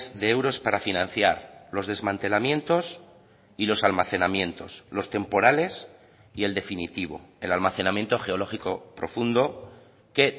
de euros para financiar los desmantelamientos y los almacenamientos los temporales y el definitivo el almacenamiento geológico profundo que